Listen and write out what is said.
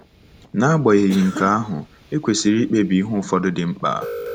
N'agbanyeghị nke ahụ, e kwesịrị ikpebi ihe ụfọdụ dị mkpa.